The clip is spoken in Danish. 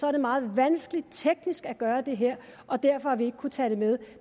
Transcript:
er det meget vanskeligt teknisk at gøre det her og derfor har vi ikke kunnet tage det med